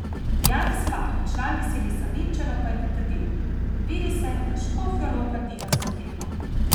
Janez Lah, član Veselih Savinjčanov, pa je pritrdil: 'Vidi se, da Škofja Loka diha s to tekmo.